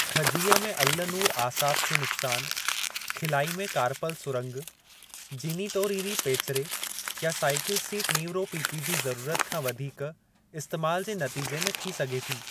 खजीअ में अल्लनुर आसाब खे नुक़्सान, खिलाई में कारपल सुरंग, जीनीटोरींरी पेचरे या साईकिल सीट नीवरोपीपी जी ज़रूरत खां वधीक इस्तेमाल जे नतीजे में थी सघे थी।